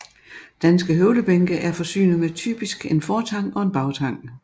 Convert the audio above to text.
Danske høvlebænke er forsynet med typisk en fortang og en bagtang